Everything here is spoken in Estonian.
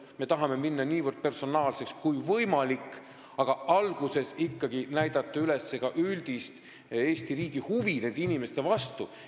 Me tahame minna niivõrd personaalseks kui võimalik, aga alguses näidata ikkagi üles Eesti riigi üldist huvi nende inimeste vastu.